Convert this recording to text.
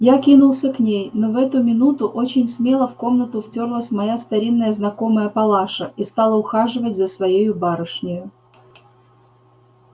я кинулся к ней но в эту минуту очень смело в комнату втёрлась моя старинная знакомая палаша и стала ухаживать за своею барышнею